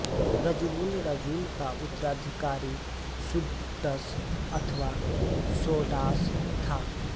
रजुवुल राजुल का उत्तराधिकारी शुडस अथवा शोडास था